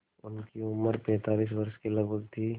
उनकी उम्र पैंतालीस वर्ष के लगभग थी